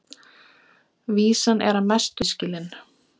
Vísan er að mestu auðskilin.